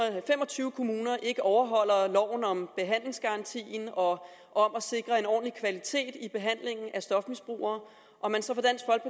tyve kommuner ikke overholder loven om behandlingsgarantien og og om at sikre en ordentlig kvalitet i behandlingen af stofmisbrugere